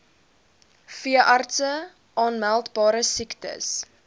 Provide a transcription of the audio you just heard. veeartse aanmeldbare siektes